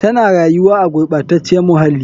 Tana rayuwa a gurɓacaciyar muhalli.